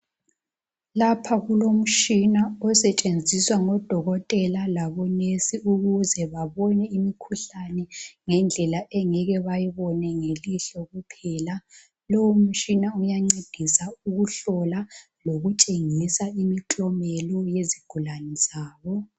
Lapha kulomtshina osetshenziswa ngodokotela labonesi ukuze babone imikhuhlane ngendlela abangeke bayibone ngelihlo kuphela. Lo umtshina uyancedisa ukuhlola lokutshengisa imiklomelo eyizigulane zabo.